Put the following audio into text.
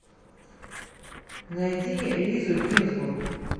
найди лизу гинзбург